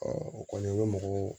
o kɔni o ye mɔgɔ